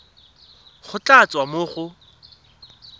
go tla tswa mo go